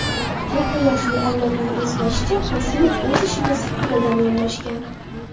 Katta yoshli avlodning eslashicha, Qosimov o‘z ishiga sidqidildan yondashgan.